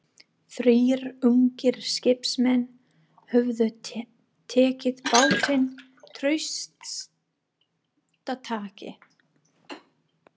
Þrír ungir skipsmenn höfðu tekið bátinn traustataki.